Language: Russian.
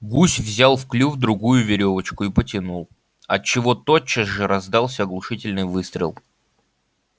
гусь взял в клюв другую верёвочку и потянул отчего тотчас же раздался оглушительный выстрел